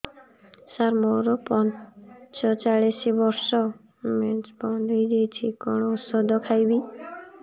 ସାର ମୋର ପଞ୍ଚଚାଳିଶି ବର୍ଷ ମେନ୍ସେସ ବନ୍ଦ ହେଇଯାଇଛି କଣ ଓଷଦ ଖାଇବି